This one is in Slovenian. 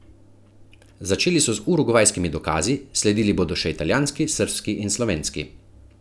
Začeli so z urugvajskimi dokazi, sledili bodo še italijanski, srbski in slovenski.